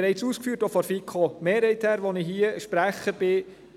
Auch die FiKo-Mehrheit hat bereits ausgeführt,